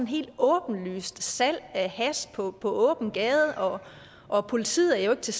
helt åbenlyst salg af hash på åben gade og og politiet er jo ikke til